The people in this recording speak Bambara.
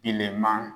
I lemaa